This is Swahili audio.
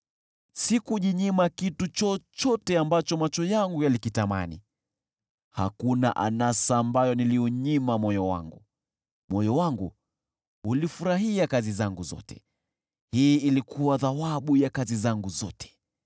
Sikujinyima kitu chochote ambacho macho yangu yalikitamani, hakuna anasa ambayo niliunyima moyo wangu. Moyo wangu ulifurahia kazi zangu zote, hii ilikuwa thawabu ya kazi zangu zote.